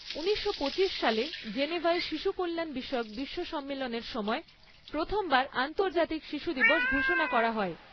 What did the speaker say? ঊনিশশো পঁচিশ সালে জেনেভায় শিশু কল্যাণ বিষয়ক বিশ্ব সম্মেলনের সময়, প্রথমবার আন্তর্জাতিক শিশু দিবস ঘোষণা করা হয়।